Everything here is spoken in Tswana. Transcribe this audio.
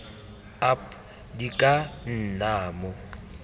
ap di ka nna mo